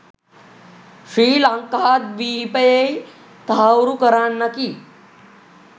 ශ්‍රී ලංකාද්වීපයෙහි තහවුරු කරන්නකි.